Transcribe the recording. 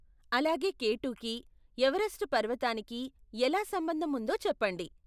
అలాగే కేటు కి, ఎవరెస్ట్ పర్వతానికి ఎలా సంబంధం ఉందో చెప్పండి.